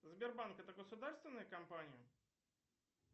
сбербанк это государственная компания